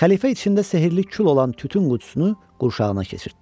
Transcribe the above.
Xəlifə içində sehrli kül olan tütün qutusunu qurşağına keçirtdi.